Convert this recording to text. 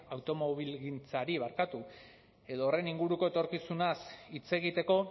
automobilgintzari edo horren inguruko etorkizunaz hitz egiteko